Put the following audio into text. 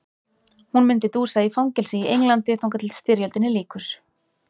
Hún myndi dúsa í fangelsi í Englandi þangað til styrjöldinni lýkur.